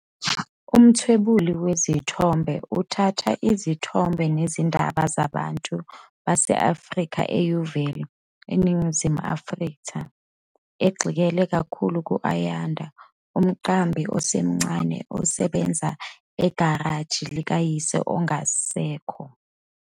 Umthwebuli wezithombe uthatha izithombe nezindaba zabantu base-Afrika eYeoville, eNingizimu Afrika, egxile kakhulu ku-Ayanda, umqambi osemncane osebenza egalaji likayise ongasekho.